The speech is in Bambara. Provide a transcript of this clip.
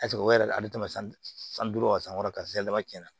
o yɛrɛ ale tama san duuru ka san kɔrɔ ka se a ma cɛn na